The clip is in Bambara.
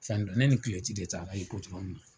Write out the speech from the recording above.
Cɛn don, ne ni de taara Ipodɔrɔmun na.